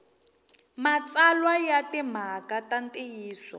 matsalwa ya timhaka ta ntiyiso